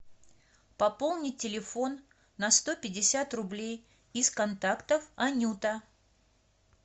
пополнить телефон на сто пятьдесят рублей из контактов анюта